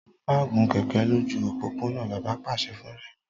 Má gun kẹ̀ẹ̀kẹ́ lójú òpópónà! Bàbá pàṣẹ fún Rẹ̀mí.